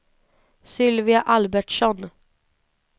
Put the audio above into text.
Sylvia Albertsson